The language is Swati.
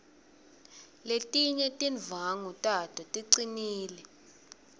letinye tindvwangu tato ticinile